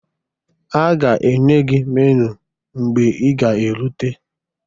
Ha ga-enye gị meniu mgbe ị ga-erute